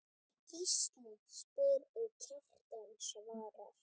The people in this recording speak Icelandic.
Gísli spyr og Kjartan svarar